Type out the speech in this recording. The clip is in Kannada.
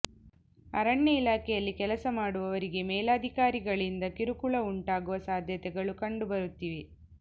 ಅರಣ್ಯ ಇಲಾಖೆಯಲ್ಲಿ ಕೆಲಸ ಮಾಡುವವರಿಗೆ ಮೇಲಾಧಿಕಾರಿಗಳಿಂದ ಕಿರುಕುಳ ಉಂಟಾಗುವ ಸಾಧ್ಯತೆಗಳು ಕಂಡು ಬರುತ್ತಿದೆ